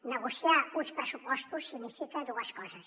negociar uns pressupostos significa dues coses